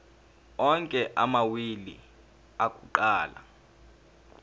onke amawili akuqala